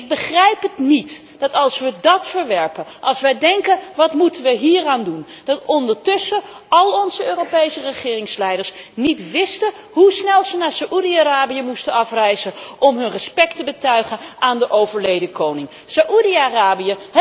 Ik begrijp niet, dat als wij dat verwerpen, als wij denken wat moeten wij hieraan doen, ondertussen al onze Europese regeringsleiders niet weten hoe snel zij naar Saoedi Arabië moeten afreizen om hun respect te betuigen aan de overleden koning. Saoedi Arabië!